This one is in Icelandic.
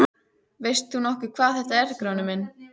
Veist þú nokkuð hvað þetta er Grjóni minn.